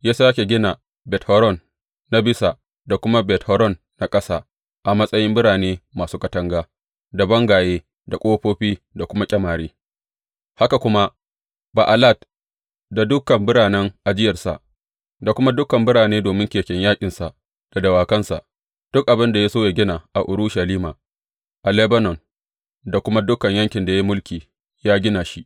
Ya sāke gina Bet Horon na Bisa da kuma Bet Horon na Ƙasa a matsayin birane masu katanga, da bangaye da ƙofofi da kuma ƙyamare, haka kuma Ba’alat da dukan biranen ajiyarsa, da kuma dukan birane domin keken yaƙinsa da dawakansa, duk abin da ya so yă gina a Urushalima, a Lebanon da kuma dukan yankin da ya yi mulki, ya gina shi.